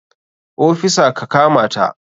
Ofisa ka kamata!